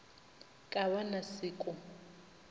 ka ba na se ko